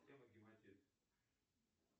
тема гематит